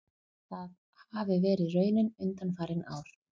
Það hafi verið raunin undanfarin ár